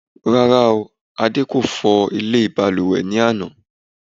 rárá o, ade kò fọ ilé ìbalùwẹ̀ ní àná